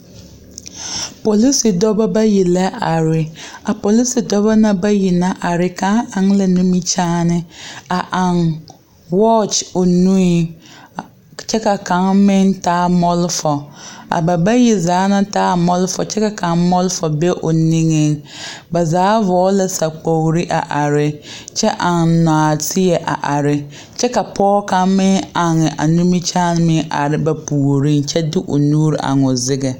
Polisi dɔbɔ bayi la are a polisi dɔbɔ na bayi na are kaŋ eŋ la nimikyaane a aŋ wɔɔky o nui kyɛ ka kaŋ meŋ taa mɔlfɔ a ba bayi zaa na taa mɔlfɔ kyɛ ka kaŋ mɔlfɔ be o niŋeŋ ba zaa vɔɔl la sakpoore a are kyɛ aŋ nɔɔteɛ a are kyɛ ka pɔɔ kaŋ meŋ aŋ nimikyaane a are ba puoriŋ kyɛ de o nuuri eŋ o zeɡɛ.